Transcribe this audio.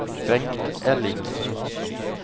Bengt Ellingsen